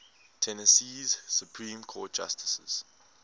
tennessee supreme court justices